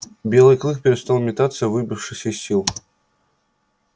белый клык перестал метаться выбившись из сил